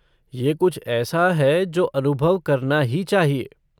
ये कुछ ऐसा है जो अनुभव करना ही चाहिए।